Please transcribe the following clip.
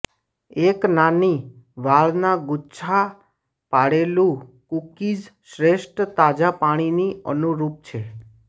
એક નાની વાળના ગુચ્છા પાડેલું કૂકીઝ શ્રેષ્ઠ તાજા પાણીની અનુરૂપ છે